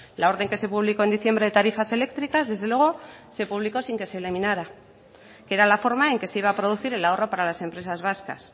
la orden que se publicó en diciembre de tarifas eléctricas desde luego se publicó sin que se eliminara que era la forma en que se iba a producir el ahorro para las empresas vascas